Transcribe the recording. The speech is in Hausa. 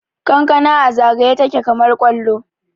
kankana a zagaye take kamar kwallo